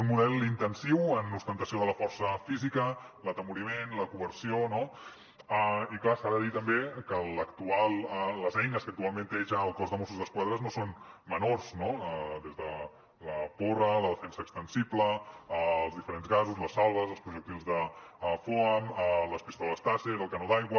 un model intensiu en ostentació de la força física l’atemoriment la coerció no i clar s’ha de dir també que les eines que actualment té ja el cos de mossos d’esquadra no són menors no des de la porra la defensa extensible els diferents gasos les salves els projectils de foam les pistoles taser el canó d’aigua